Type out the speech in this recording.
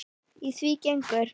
Í því gengur